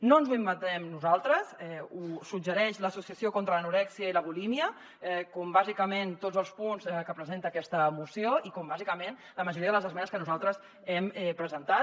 no ens ho inventem nosaltres ho suggereix l’associació contra l’anorèxia i la bulímia com bàsicament tots els punts que presenta aquesta moció i com bàsicament la majoria de les esmenes que nosaltres hem presentat